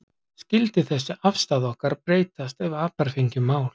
Skyldi þessi afstaða okkar breytast ef apar fengju mál?